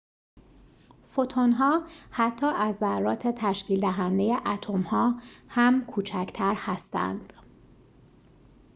فوتون‌ها حتی از ذرات تشکیل‌دهنده اتم‌ها هم کوچکتر هستند